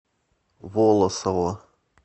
волосово